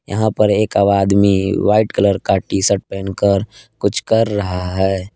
यहां पर एक आदमी व्हाइट कलर का टीशर्ट पहन कर कुछ कर रहा है।